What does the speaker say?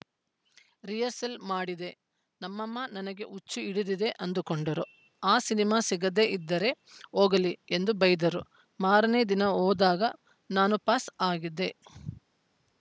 rehearsal ಮಾಡಿದೆ ನಮ್ಮಮ್ಮ ನನಗೆ ಹುಚ್ಚು ಹಿಡಿದಿದೆ ಅಂದುಕೊಂಡರು ಆ ಸಿನಿಮಾ ಸಿಗದೇ ಇದ್ದರೆ ಹೋಗಲಿ ಎಂದು ಬೈದರು ಮಾರನೇ ದಿನ ಹೋದಾಗ ನಾನು ಪಾಸ್‌ ಆಗಿದ್ದೆ